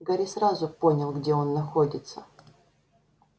гарри сразу понял где он находится